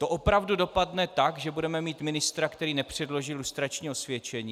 To opravdu dopadne tak, že budeme mít ministra, který nepředložil lustrační osvědčení?